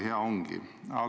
Hea ongi!